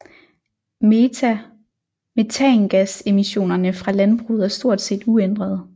Metangasemissionerne fra landbruget er stort set uændrede